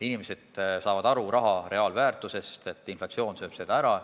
Inimesed saavad aru raha reaalväärtusest, saavad aru, et inflatsioon sööb seda ära.